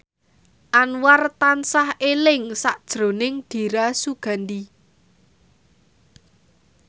Anwar tansah eling sakjroning Dira Sugandi